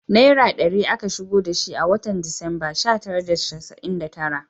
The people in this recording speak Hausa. Naira ɗari aka shigo da shi a watan Disamba sha tara da casa’in da tara